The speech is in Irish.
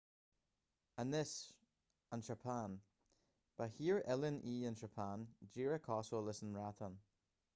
anois an tseapáin ba thír oileáin í an tseapáin díreach cosúil leis an mbreatain